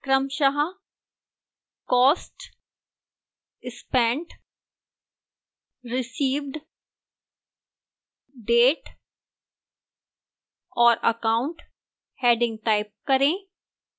क्रमशः cost spent received date और account headings type करें